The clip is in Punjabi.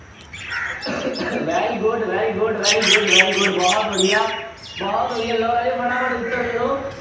very good, very good, very good, very good ਬਹੁਤ ਵਧੀਆ, ਬਹੁਤ ਵਧੀਆ ਲਓ ਰਾਜੇ ਫਟਾਫਟ ਉੱਤਰ ਦੇ ਦਿਓ।